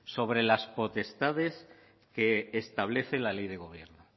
sobre las potestades que establece la ley de gobierno